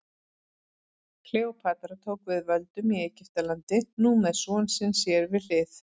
Kleópatra tók við völdum í Egyptalandi, nú með son sinn sér við hlið.